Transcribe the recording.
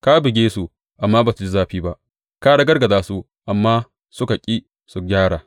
Ka buge su, amma ba su ji zafi ba; ka ragargaza su, amma suka ƙi su gyara.